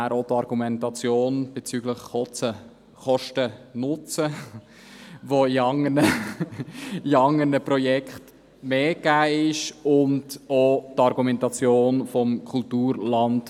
Zur Argumentation bezüglich des Kosten-Nutzen-Verhältnisses: Dieses ist bei anderen Projekten günstiger.